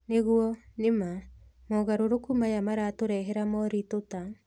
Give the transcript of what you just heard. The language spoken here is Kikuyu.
Nĩguo, nĩ ma. Mogarũrũku maya maratũrehera moritũ ta,